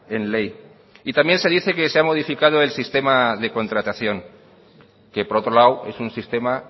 en ley y también se dice que se ha modificado el sistema de contratación que por otro lado es un sistema